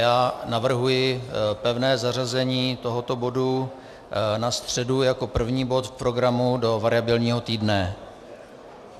Já navrhuji pevné zařazení tohoto bodu na středu jako první bod v programu do variabilního týdne.